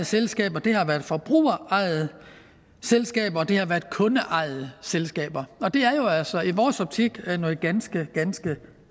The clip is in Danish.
selskaber det har været forbrugerejede selskaber og det har været kundeejede selskaber og det er jo altså i vores optik noget ganske ganske